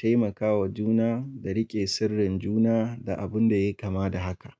taimakawa juna, da rike sirrin juna da abun da ya kama da haka.